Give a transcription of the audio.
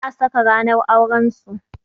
Za a saka ranar auran su.